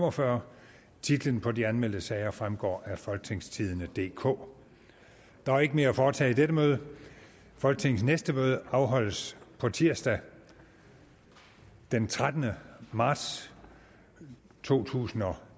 og fyrre titler på de anmeldte sager vil fremgå af folketingstidende DK der er ikke mere at foretage i dette møde folketingets næste møde afholdes tirsdag den trettende marts to tusind og